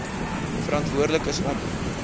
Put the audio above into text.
verantwoordelik is om